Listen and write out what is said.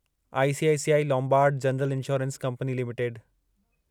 ICICI Lombard general insurance company limited